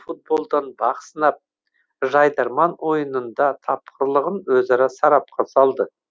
футболдан бақ сынап жайдарман ойынында тапқырлығын өзара сарапқа салды